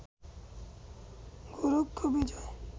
Goraksha Bijoy